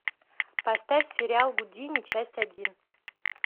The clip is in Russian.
поставь сериал гудини часть один